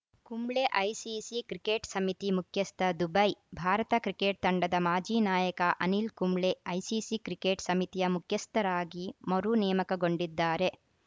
Kumble ICC cricket ಸಮಿತಿ ಮುಖ್ಯಸ್ಥ Dubai Bharat cricket ತಂಡದ ಮಾಜಿ ನಾಯಕ ಅನಿಲ್‌ ಕುಂಬ್ಳೆ ಐಸಿಸಿ ಕ್ರಿಕೆಟ್‌ ಸಮಿತಿಯ ಮುಖ್ಯಸ್ಥರಾಗಿ ಮರು ನೇಮಕಗೊಂಡಿದ್ದಾರೆ